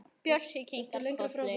Bjössi kinkar kolli.